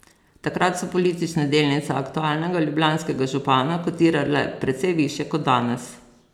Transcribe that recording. Takrat so politične delnice aktualnega ljubljanskega župana kotirale precej višje kot danes.